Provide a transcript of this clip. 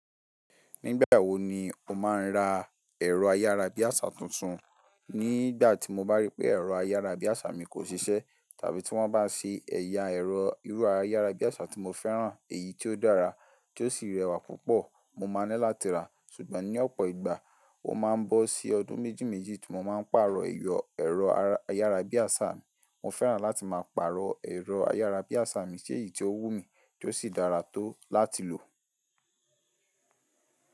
Nígbà wo ni o máa ń ra ẹ̀rọ ayárabíàṣá tuntun? Nígbà tí mo bá rí pé ẹ̀rọ ayárabíàṣá mi kò ṣiṣẹ́, tàbí tí wọ́n bá ṣe ẹ̀ya ẹ̀rọ irú ayárabíàṣá tí mo fẹ́ràn, èyí tí ó dára, tí ó sì rẹwà púpọ̀, mo máa ní láti ra. Ṣùgbọ́n ní ọ̀pọ̀ ìgbà, ó máa ń bọ́ sí ọdún méjì méjì tí mo máa ń pàrọ̀ èrọ ayárabíàṣá mi. Mo fẹ́ràn láti máa pàrọ̀ ẹ̀rọ ayárabíàṣá mi, ṣe èyí tí ó wù mí, tí ó sì dára tó láti lò.